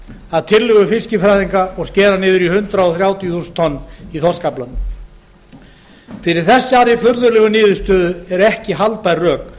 að tillögu fiskifræðinga og skera niður í hundrað þrjátíu þúsund tonna þorskafla fyrir þessari furðulegu niðurstöðu eru ekki haldbær rök